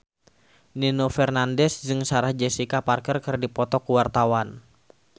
Nino Fernandez jeung Sarah Jessica Parker keur dipoto ku wartawan